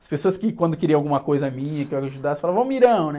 As pessoas que quando queriam alguma coisa minha, que eu ajudasse, falavam, né?